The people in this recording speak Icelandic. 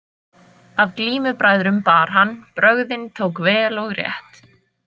Af glímubræðrum bar hann brögðin tók vel og rétt.